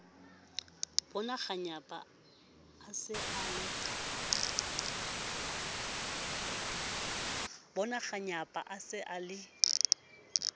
bonakganyapa a se a le